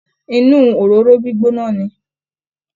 Inú òróró gbígbóná ni